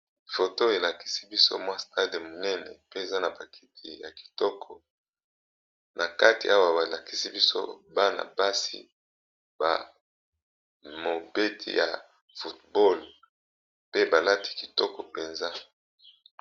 Photo elakisi biso mwa stade Moko ya muñene pee Eza naba kiti yakitoko nakati balakisa bison Bana